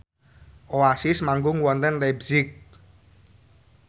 Oasis manggung wonten leipzig